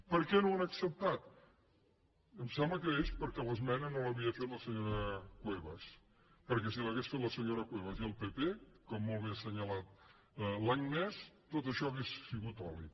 per què no ho han acceptat em sembla que és perquè l’esmena no l’havia fet la senyora cuevas perquè si l’haguessin fet la senyora cuevas i el pp com molt bé ha assenyalat l’agnès tot això hauria sigut oli